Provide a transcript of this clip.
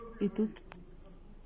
и тут